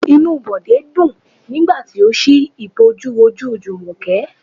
Inú Bode dùn nígbà tí ó si ìbòjú ojú Jumoke.